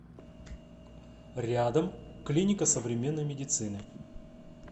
рядом клиника современной медицины